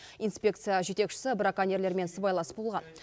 инспекция жетекшісі браконьерлермен сыбайлас болған